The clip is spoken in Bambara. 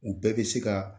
U bɛɛ bɛ se ka